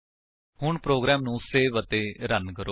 ਹੁਣ ਪ੍ਰੋਗਰਾਮ ਨੂੰ ਸੇਵ ਅਤੇ ਰਨ ਕਰੋ